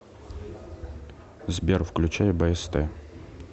сбер включай бст